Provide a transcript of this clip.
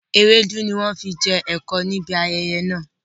Ewédú ni wọn fi jẹ ẹ̀kọ níbi ayẹyẹ náà